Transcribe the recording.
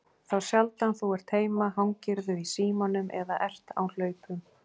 Þá sjaldan þú ert heima hangirðu í símanum eða ert á hlaupum.